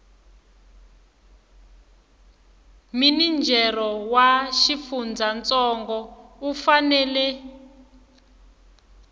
minijere wa xifundzantsongo u fanela